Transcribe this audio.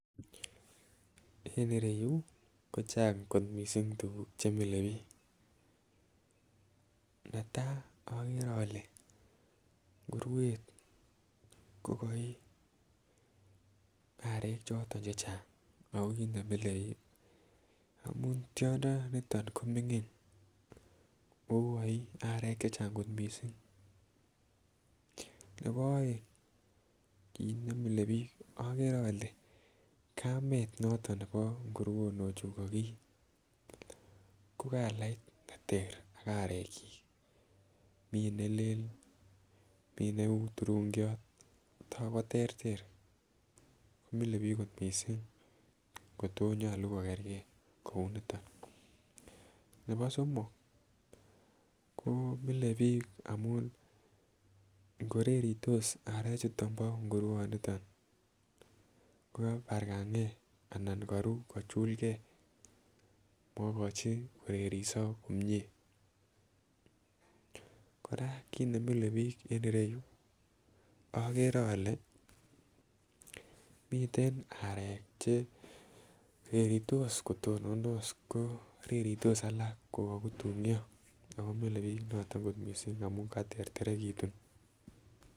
En ireyuu ko Chang kot missing tukuk chemile bik netai okere ole nguruet ko koi arek choton chechang ako kit nemile bik amun tyondo niton komingin okoi arek che Chang kot missing. Nebo oeng kit nemile bik okere ole kamet noton nebo nguronik chu kokii ko kalait neter ak arek chik, mii nelel mii neu turungiot koterter komile bik kot missing kotonyolu kikergee kouniton. Nebo somok koo mile bik amun nkoreritos arechuu bo ngurouniton ko kabarkangee anan koruu kochulgee mokochi koreriso komie Koraa kit nemile bik en ireyuu okere ole miten arek che reritos kotonondos ko reritos alak ko kokutunyo ko mile bik noton missing amun katerterekitun.